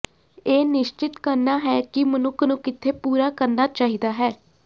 ਇਹ ਨਿਸ਼ਚਿਤ ਕਰਨਾ ਹੈ ਕਿ ਮਨੁੱਖ ਨੂੰ ਕਿੱਥੇ ਪੂਰਾ ਕਰਨਾ ਚਾਹੀਦਾ ਹੈ